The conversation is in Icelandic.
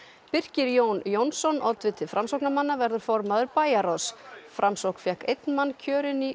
Birkir Jón Jónsson oddviti Framsóknarmanna verður formaður bæjarráðs framsókn fékk einn mann kjörinn í